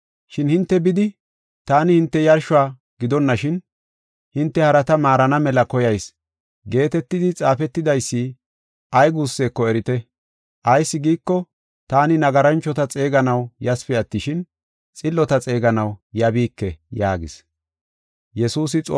Shin hinte bidi, ‘Taani hinte yarshuwa gidonashin hinte harata maarana mela koyayis’ geetetidi xaafetidaysi ay guusseko erite. Ayis giiko, taani nagaranchota xeeganaw yasipe attishin, xillota xeeganaw yabiike” yaagis.